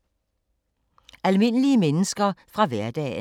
Almindelige mennesker fra hverdagen